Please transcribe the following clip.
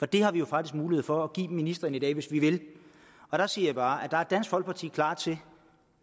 det har vi jo faktisk mulighed for at give ministeren i dag hvis vi vil siger jeg bare at der er dansk folkeparti klar til